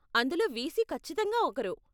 అందులో వీసీ కచ్చితంగా ఒకరు.